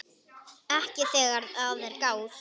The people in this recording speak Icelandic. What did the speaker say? Ekki þegar að er gáð.